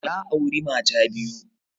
Ya auri mata ta biyu